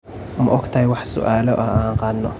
Ma ogtahay wax su'aalo ah oo an qaadno?